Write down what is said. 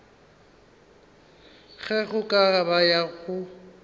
ge go ka ba go